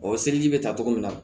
O seliji bɛ ta cogo min na